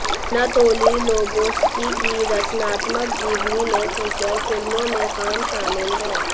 Anatoly Loboski की रचनात्मक जीवनी में फीचर फिल्मों में काम शामिल है